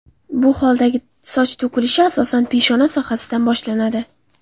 Bu holdagi soch to‘kilishida to‘kilishi asosan peshona sohasidan boshlanadi.